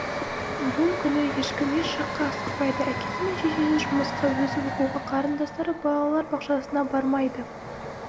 бұл күні ешкім еш жаққа асықпайды әкесі мен шешесі жұмысқа өзі оқуға қарындастары балалар бақшасына бармайды